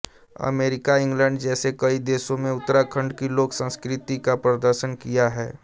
America England जैसे कई देशों में उत्तराखंड की लोक संस्कृति का प्रदर्शन किया है